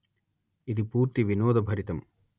ఇది పూర్తి వినోదభరితం